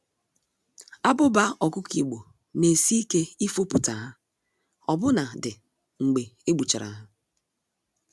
Abụba ọkụkọ Igbo, n'esi ike ifopụta ha, ọbụna dị mgbe egbuchara ha.